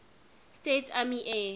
states army air